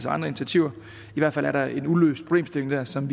andre initiativer i hvert fald er der en uløst problemstilling der som